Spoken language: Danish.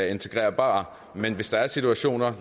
integrerbare men hvis der er situationer